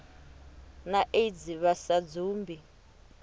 na aids vha sa dzumbi